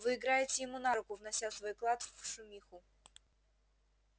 вы играете ему на руку внося свой вклад в шумиху